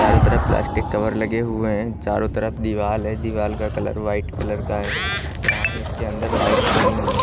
चारों तरफ plastic cover लगे हुए हैं चारों तरफ दीवाल है दीवाल का कलर व्हाईट कलर का है चारों के अंदर लाइट्स लगी हुई हैं।